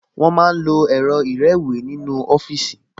Wọ́n máa ń lo ẹ̀rọ ìrẹ́wèé nínú ọfíìsì